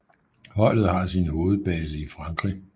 Holdet har sin hovedbase i Frankrig